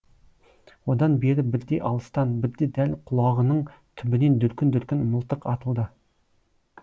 одан бері бірде алыстан бірде дәл құлағының түбінен дүркін дүркін мылтық атылды